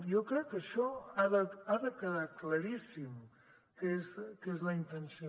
jo crec que això ha de quedar claríssim que és la intenció